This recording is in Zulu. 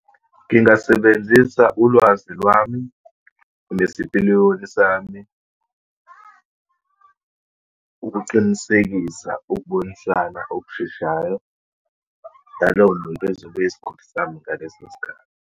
Ngingasebenzisa ulwazi lwami, nesipiliyoni sami ukuqinisekisa ukubonisana okusheshayo, ngaloyo muntu ezobe eyisiguli sami ngaleso sikhathi.